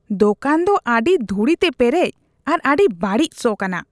ᱫᱳᱠᱟᱱ ᱫᱚ ᱟᱹᱰᱤ ᱫᱷᱩᱲᱤᱛᱮ ᱯᱮᱨᱮᱡ ᱟᱨ ᱟᱹᱰᱤ ᱵᱟᱹᱲᱤᱡ ᱥᱚ ᱠᱟᱱᱟ ᱾